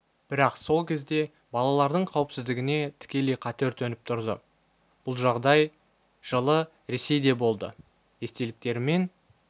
бірақ сол кезде балалардың қауіпсіздігіне тікелей қатер төніп тұрды бұл жағдай жылы ресейде болды естеліктерімен